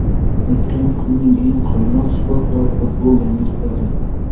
O‘tgan kunning eng qaynoq sport va futbol yangiliklari:.